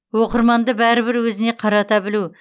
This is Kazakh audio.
оқырманды бәрібір өзіне қарата білу